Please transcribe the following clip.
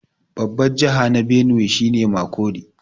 Babbar jiha na Benue shi ne Makurdi.